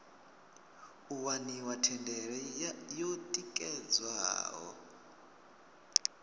u waniwa thendelo yo tikedzwaho